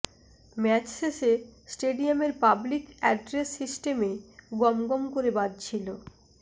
match শেষে স্টেডিয়ামের public address সিস্টেমে গমগম করে বাজছিল